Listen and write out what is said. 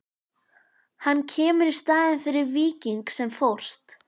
Hann kemur í staðinn fyrir Víking sem fórst.